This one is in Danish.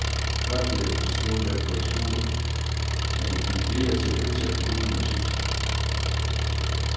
Førstehjælp, stod der på et skur, men jeg gik videre til et øltelt uden musik.